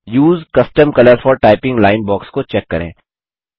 उसे custom colour for typing line box को check करें